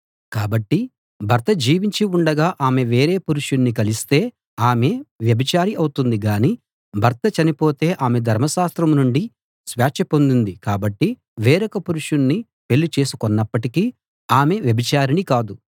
కాబట్టి భర్త జీవించి ఉండగా ఆమె వేరే పురుషుణ్ణి కలిస్తే ఆమె వ్యభిచారి అవుతుంది గాని భర్త చనిపోతే ఆమె ధర్మశాస్త్రం నుండి స్వేచ్ఛ పొందింది కాబట్టి వేరొక పురుషుణ్ణి పెళ్ళి చేసికొన్నప్పటికీ ఆమె వ్యభిచారిణి కాదు